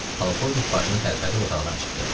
Polkovnik başını tərpədib otaqdan çıxdı.